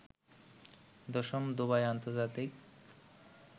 ১০ম Dubai আন্তর্জাতিক